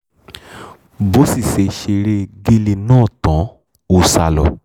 bó sì ṣe ṣeré egéle náà tán ó sá lọ